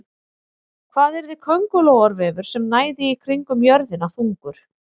Hvað yrði köngulóarvefur sem næði kringum jörðina þungur?